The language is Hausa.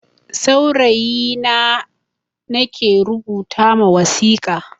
Saurayi na nake rubuta ma wasika.